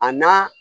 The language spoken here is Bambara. A na